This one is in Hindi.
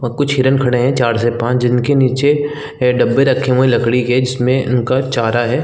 और कुछ हिरण खड़े है चार से पाँच जिनके नीचे है डब्बे रखे हुए है लकड़ी के जिसमे उनका चारा है ।